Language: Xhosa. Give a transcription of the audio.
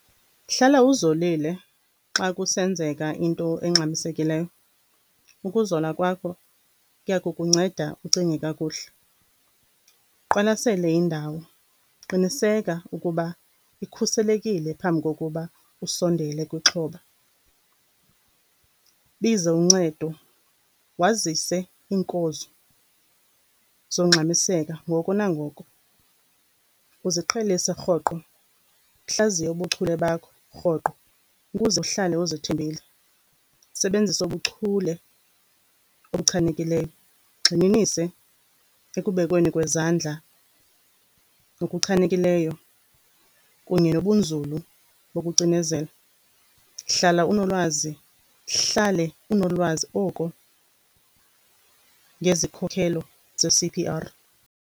Hlala uzolile xa kusenzeka into engxamisekileyo, ukuzola kwakho kuya kukunceda ucinge kakuhle. Uqwalasele indawo, qiniseka ukuba ikhuselekile phambi kokuba usondele kwixhoba. Biza uncedo wazise iinkonzo zokungxamiseka ngoko nangoko. Uziqhelise rhoqo, uhlaziye ubuchule bakho rhoqo ukuze uhlale uzithembile. Usebenzise ubuchule obuchanekileyo, ugxininise ekubekweni kwezandla okuchanekileyo kunye nobunzulu bokucinezela. Hlala unolwazi, uhlale unolwazi oko ngezikhokhelo ze-C_P_R.